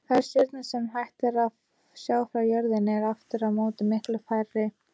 Þær stjörnur sem hægt er að sjá frá jörðinni eru aftur á móti miklu færri.